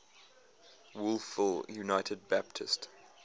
wolfville united baptist